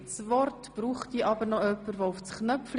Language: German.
Der Regierungsrat ist bereit, diese anzunehmen.